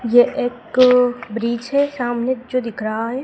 मुझे एक सामने जू दिख रहा है।